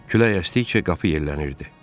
Külək əsdikcə qapı yellənirdi.